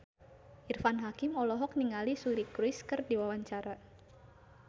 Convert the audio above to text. Irfan Hakim olohok ningali Suri Cruise keur diwawancara